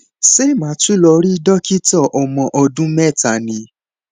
ṣé màá tún lọ rí dókítà ọmọ ọdún mẹta ni